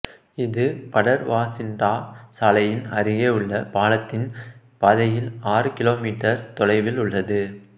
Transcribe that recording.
இது படேர்வாசிண்டா சாலையின் அருகே உள்ள பாலத்தின் பாதையில் ஆறு கிலோமீட்டர் தொலைவில் உள்ளது